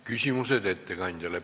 Küsimused ettekandjale.